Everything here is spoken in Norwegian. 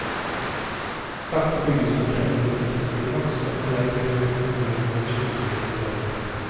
Sakte bygges fortellingen opp til et klimaks, og underveis blir vi uforglemmelige skildringer til del.